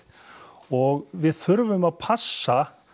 og við þurfum að passa